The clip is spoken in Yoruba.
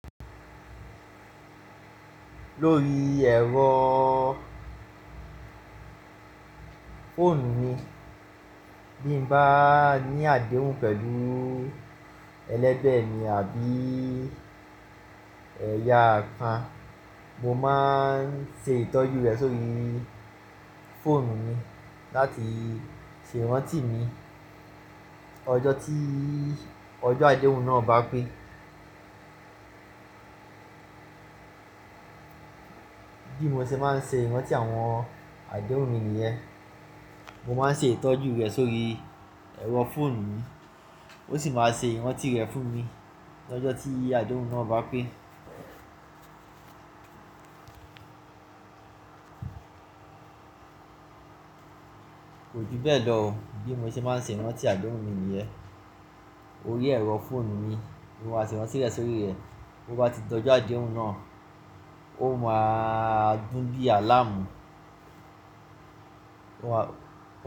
Lórí ẹ̀rọ fóònù mi, bí mo bá ní àdéhùn pẹ̀lú ẹlẹ́bẹ̀ mi àbí ẹ̀yà kan, mo máa ń ṣe ìtọ́jú rẹ̀ sórí fóònù mi láti ṣe ran tì mí ọjọ́ tí ọjọ́ àdéhùn náà bá pé. Bí mo ṣe máa ń ṣe ran tì àwọn àdéhùn mi nìyẹn. Mo máa ń ṣe ìtọ́jú rẹ̀ sórí ẹ̀rọ fóònù mi, ó sì máa ṣe wọ́n tì rẹ̀ fún mi lọ́jọ́ tí àdéhùn náà bá pé. Kò ju bẹ́ẹ̀ lọ bí mo ṣe máa ń ṣe ran tì àdéhùn mi nìyẹn. Orí ẹ̀rọ fóònù mi ni mo máa ṣe ran tì rẹ̀ sórí rẹ̀. Bo bá ti tọ́jo àdéhùn náà, ó máa dùn bí àláàmù. Ó ma.